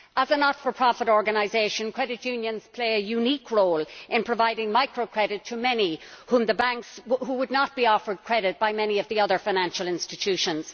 As not for profit organisations, credit unions play a unique role in providing microcredit to many who would not be offered credit by many of the other financial institutions.